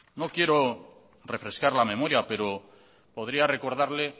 no quiero refrescar la memoria pero podría recordarle